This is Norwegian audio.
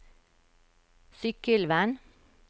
Sykkylven